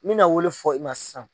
Mi na o le fɔ i ma sisan